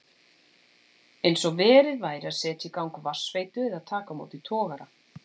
Eins og verið væri að setja í gang vatnsveitu eða taka á móti togara.